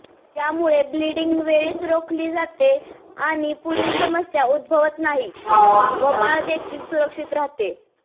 यामुळे ब्लीडींग वेळीच रोखली जाते आणि पुढील समस्या उद्भवत नाही व बाळ देखील सुरक्षित राहते